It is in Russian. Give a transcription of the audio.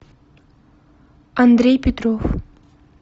андрей петров